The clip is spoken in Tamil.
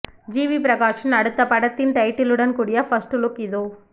ஜிவி பிரகாஷின் அடுத்த படத்தின் டைட்டிலுடன் கூடிய பர்ஸ்ட் லுக் இதோ